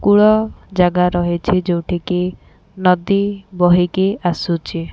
କୁଳ ଜାଗା ରହିଛି ଯୋଉଠିକି ନଦୀ ବହିକି ଆସୁଚି ।